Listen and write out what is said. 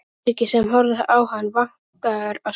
Eiríki sem horfði á hann, vankaður á svip.